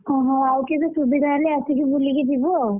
ଓହୋ ଆଉ କେବେ ସୁବିଧା ହେଲେ ଆସିକି ବୁଲିକି ଯିବୁ ଆଉ,